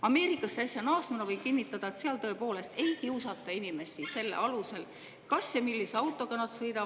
Ameerikast äsja naasnuna võin kinnitada, et seal tõepoolest ei kiusata inimest selle alusel, kas ja millise autoga ta sõidab.